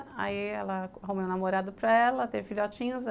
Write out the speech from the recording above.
Aí, ela arrumei um namorado para ela, teve filhotinhos.